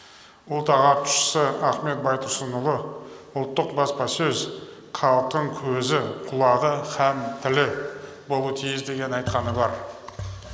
ұлт ағартушысы ахмет байтұрсынұлы ұлттық баспасөз халықтың көзі құлағы һәм тілі болуы тиіс деген айтқаны бар